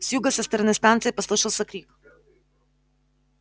с юга со стороны станции послышался крик